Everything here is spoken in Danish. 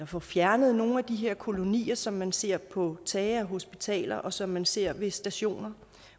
få fjernet nogle af de her kolonier som man ser på tage af hospitaler og som man ser ved stationer